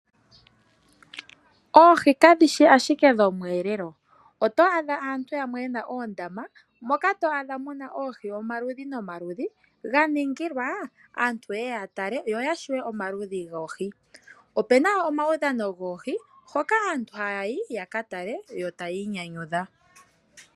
Oohi kadhi shi ashike dhomwelelo oto adha aantu yamwe yena oondama moka to adha muna oohi omaludhi nomaludhi ga ningilwa aantu yeye ya tale yo ya shiwe omaludhi goohi. Opuna omawudhano goohi hoka aantu haya yi ya ka tale yo taya inyanyudha.